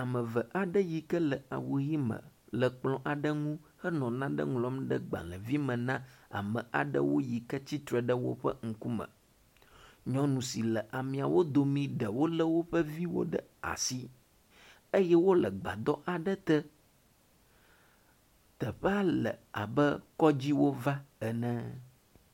Ame eve aɖe yi ke le awu ʋi me le kplɔ ŋu henɔ nane ŋlɔm ɖe gbalevi me na ame aɖewo yi ke tsitre ɖɖe woƒe ŋkume. Nyɔnu si le ameawo dome ɖewo le woƒe viwo ɖe asi eye wo le gbadɔ aɖe te. Teƒea le abe kɔdzi wova ene.